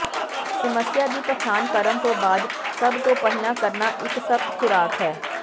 ਸਮੱਸਿਆ ਦੀ ਪਛਾਣ ਕਰਨ ਤੋਂ ਬਾਅਦ ਸਭ ਤੋਂ ਪਹਿਲਾਂ ਕਰਨਾ ਇੱਕ ਸਖ਼ਤ ਖ਼ੁਰਾਕ ਹੈ